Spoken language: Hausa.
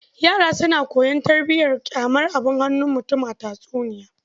Yara suna koyon tarbiyar ƙyamar abun hannun mutum a tatsuniya.